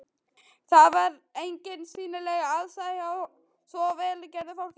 Það var engin sýnileg ástæða hjá svo vel gerðu fólki.